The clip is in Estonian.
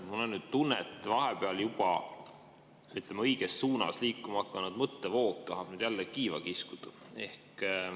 Mul on nüüd tunne, et vahepeal juba, ütleme, õiges suunas liikuma hakanud mõttevoog tahab jälle kiiva kiskuda.